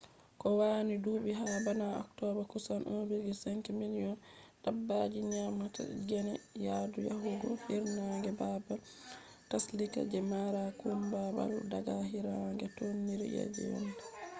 kowani dubi ha bana october kusan 1.5 million dabbaji nyamata gene yadu yahugo hirnange babal tsallika je mara kumbawal daga hirnange tondire je yende